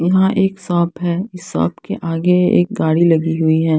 यहाँ एक शॉप है शॉप के आगे एक गाड़ी लगी हुई है।